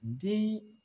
Den